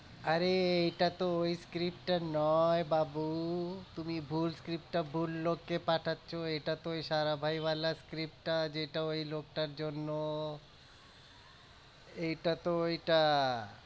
আরে এটা তো ওই script টা নয় বাবু তুমি ভুল script টা ভুল লোককে পাঠাচ্ছো এটা তো script টা যেটা ওই লোকটার জন্য এইটা তো ওইটা